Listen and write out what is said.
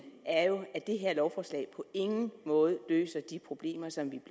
er jo at det her lovforslag på ingen måde løser de problemer som vi